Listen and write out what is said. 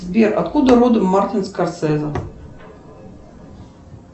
сбер откуда родом мартин скорсезе